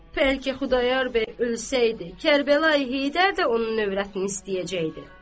Bəlkə Xudayar bəy ölsəydi, Kərbəlayı Heydər də onun övrətini istəyəcəkdi.